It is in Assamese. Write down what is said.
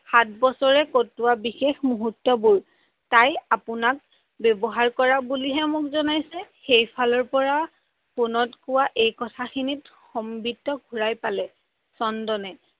সাত বছৰে কটোৱা সেই বিশেষ মূহুৰ্ত বোৰ, তাই আপোনাক ব্যৱহাৰ কৰা বুলিহে মোক জনাইছে সেইফালৰ ফোনত কোৱা এই কথাখিনিত সংবিত্ত ঘোৰাই পালে চন্দনে